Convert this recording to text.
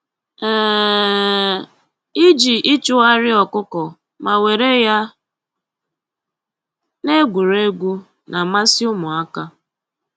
um Iji ịchụgharị ọkụkọ ma were ya na-egwuregwu na-amasị ụmụaka